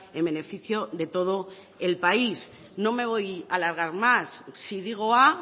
en beneficio de todo el país no me voy a alargar más si digo a